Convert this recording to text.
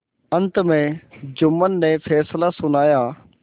अंत में जुम्मन ने फैसला सुनाया